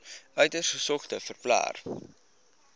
uiters gesogde verpleër